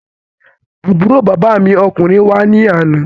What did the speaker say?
Àbúrò bàbá mi ọkùnrin wá ní àná.